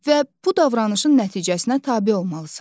Və bu davranışın nəticəsinə tabe olmalısan.